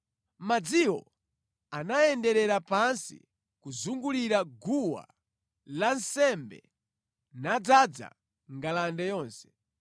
Madziwo anayenderera pansi kuzungulira guwa lansembe, nadzaza ngalande yonse.